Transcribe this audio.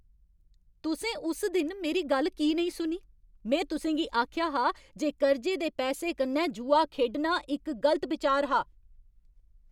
तुसें उस दिन मेरी गल्ल की नेईं सुनी? में तुसें गी आखेआ हा जे कर्जे दे पैसें कन्नै जुआ खेढना इक गलत बिचार हा।